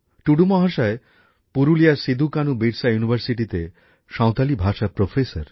টুডু মহাশয় পুরুলিয়ার সিধুকানুবিরসা ইউনিভার্সিটিতে সাঁওতালি ভাষার অধ্যাপক